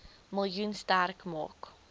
miljoen sterk maak